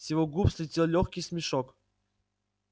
с его губ слетел лёгкий смешок